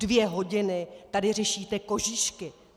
Dvě hodiny tady řešíte kožíšky!